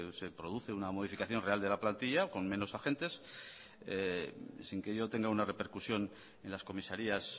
se produce una modificación real de la plantilla con menos agentes sin que ello tenga una repercusión en las comisarias